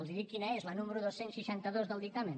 els dic quina és la número dos cents i seixanta dos del dictamen